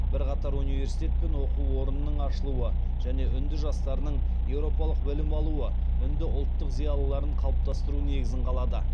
бірқатар университет пен оқу орынының ашылуы және үнді жастарының еуропалық білім алуы үнді ұлттық зиялыларын қалыптастыру негізін қалады